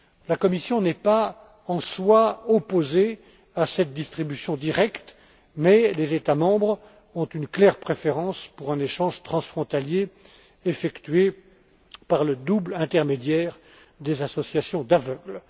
La Commission n'est pas, en soi, opposée à cette distribution directe, mais les États membres ont une nette préférence pour un échange transfrontalier effectué par le double intermédiaire des associations d'aveugles.